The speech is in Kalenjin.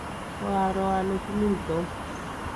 koaro ale tilil Tom